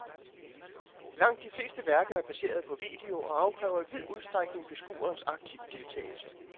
Langt de fleste værker er baseret på video og afkræver i vid udstrækning beskuerens aktive deltagelse.